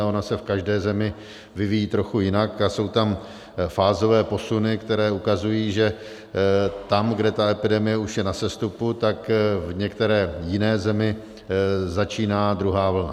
A ona se v každé zemi vyvíjí trochu jinak a jsou tam fázové posuny, které ukazují, že tam, kde ta epidemie už je na sestupu, tak v některé jiné zemi začíná druhá vlna.